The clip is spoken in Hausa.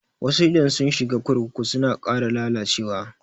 Wasu idan sun shiga kurkuku suna ƙara lalacewa.